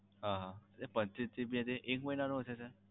હમ પચ્ચીસ GB એ એક મહિના નો હશે?